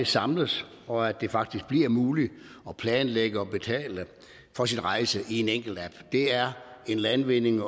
samles og at det faktisk bliver muligt at planlægge og betale for sin rejse i en enkelt app en landvinding